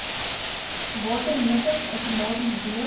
watermeters outomaties deel